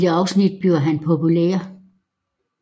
I et afsnit bliver han populær